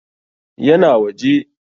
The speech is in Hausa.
Ya na waje.